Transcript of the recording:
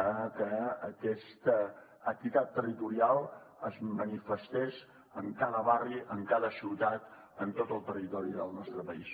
a que aquesta equitat territorial es manifestés en cada barri en cada ciutat en tot el territori del nostre país